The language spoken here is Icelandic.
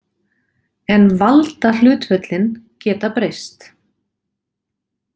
En „valdahlutföllin“ geta breyst.